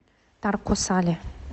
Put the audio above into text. тарко сале